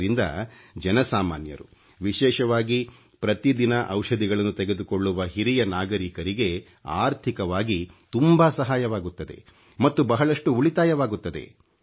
ಇದರಿಂದ ಜನ ಸಾಮಾನ್ಯರು ವಿಶೇಷವಾಗಿ ಪ್ರತಿದಿನ ಔಷಧಿಗಳನ್ನು ತೆಗೆದುಕೊಳ್ಳುವ ಹಿರಿಯ ನಾಗರೀಕರಿಗೆ ಅರ್ಥಿಕವಾಗಿ ತುಂಬಾ ಸಹಾಯವಾಗುತ್ತದೆ ಮತ್ತು ಬಹಳಷ್ಟು ಉಳಿತಾಯವಾಗುತ್ತದೆ